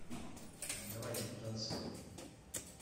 давайте потанцуем